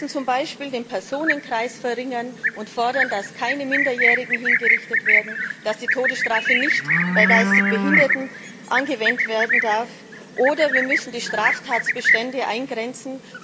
Wir müssen zum Beispiel den Personenkreis einengen und fordern, dass keine Minderjährigen mehr hingerichtet werden, dass die Todesstrafe nicht bei geistig Behinderten angewendet werden darf, oder wir müssen die Straftatbestände eingrenzen.